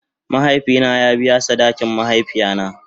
Mahaifi na ya biya sadakin mahaifiya na.